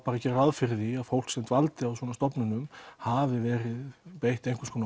gera ráð fyrir því að fólk sem dvaldi á svona stofnunum hafi verið beitt einhvers konar